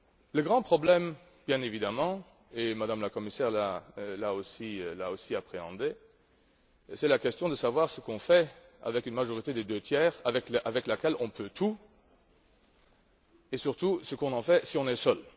Le grand problème, bien évidemment Mme la Commissaire l'a aussi appréhendé c'est la question de savoir ce qu'on fait avec une majorité des deux tiers avec laquelle on peut tout et, surtout, ce qu'on en fait, si on est seul.